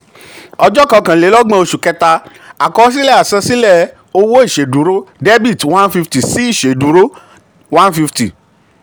ọjọ́ kọkànlélọ́gbọ̀n oṣù kẹta, àkọsílẹ̀ àsansílẹ̀ owó ìṣèdúró debit one fifty sí ìṣèdúró one fifty.